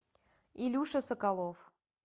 илюша соколов